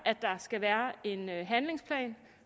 skal være en handlingsplan